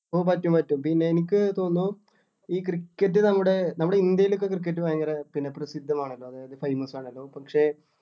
ഓഹ് പറ്റും പറ്റും പിന്നെ എനിക്ക് തോന്നുന്നു ഈ cricket നമ്മുടെ നമ്മുടെ ഇന്ത്യലോക്കെ cricket ഭയങ്കര പിന്നെ പ്രസിദ്ധമാണല്ലോ അതായത് famous ആണല്ലോ പക്ഷേ